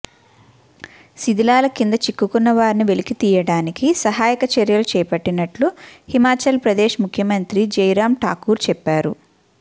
శిథిలాల కింద చిక్కుకున్నవారిని వెలికి తీయడానికి సహాయక చర్యలు చేపట్టినట్లు హిమాచల్ ప్రదేశ్ ముఖ్యమంత్రి జైరాం ఠాకూర్ చెప్పారు